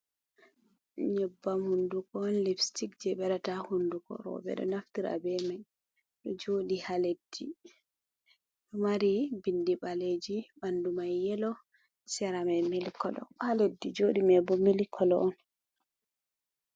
nyebbam hunduko on lupstic, jey ɓe waɗata haa hunduko. Rowɓe ɗo naftira be may, ɗo jooɗi haa leddi mari bindi ɓaleeji .Ɓanndu may yelo ,sera may milik kolo, haa leddi jooɗi may bo milikolo on.